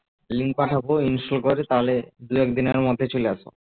link ভাবো ensure করে তাহলে দুএকদিনের মধ্যে চলে আসব